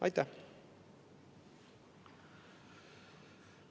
Aitäh!